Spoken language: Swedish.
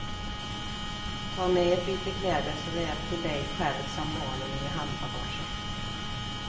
Tag med ett byte kläder såväl till dig själv som barnen i handbagaget.